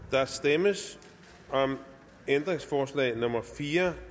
der stemmes om ændringsforslag nummer fire